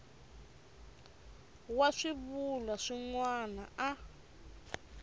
wa swivulwa swin wana a